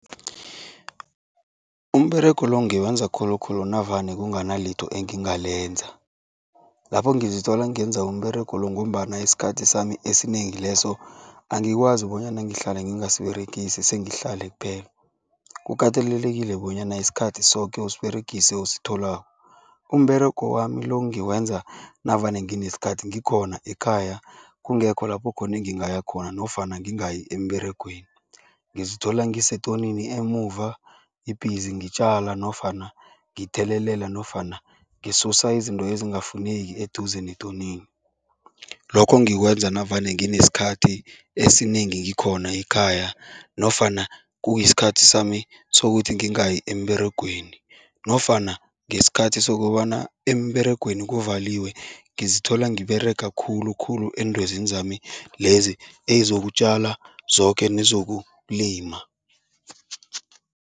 Umberego lo ngiwenza khulukhulu navane kunganalitho engingalenza. Lapho ngizithola ngenza umberego lo ngombana isikhathi sami esinengi leso angikwazi bonyana ngihlala ngingasiberegisi, sengihlale kuphela. Kukatelelekile bonyana isikhathi soke usiberegise ositholako. Umberego wami lo ngiwenza navane nginesikhathi, ngikhona ekhaya, kungekho lapho khona engingaya khona nofana ngingayi emberegweni. Ngizithola ngisetonini emuva, ngibhizi ngitjala nofana ngithelelela nofana ngisusa izinto ezingafuneki eduze netonini. Lokho ngikwenza navane nginesikhathi esinengi ngikhona ekhaya nofana kuyisikhathi sami sokuthi ngingayi emberegweni nofana ngesikhathi sokobana emberegweni kuvaliwe, ngizithola ngiberega khulukhulu entwezini zami lezi ezokutjala zoke nezokulima.